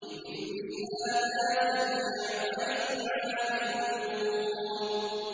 لِمِثْلِ هَٰذَا فَلْيَعْمَلِ الْعَامِلُونَ